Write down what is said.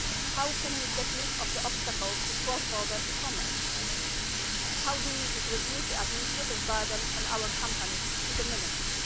How can we get rid of the obstacles to cross-border e-commerce? How do we reduce the administrative burden on our companies to the minimum?